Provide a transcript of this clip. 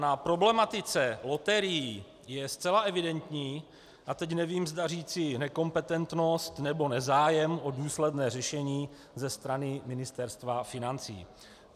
Na problematice loterií je zcela evidentní - a teď nevím, zda říci nekompetentnost, nebo nezájem o důsledné řešení ze strany Ministerstva financí.